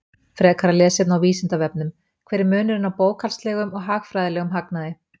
Frekara lesefni á Vísindavefnum: Hver er munurinn á bókhaldslegum og hagfræðilegum hagnaði?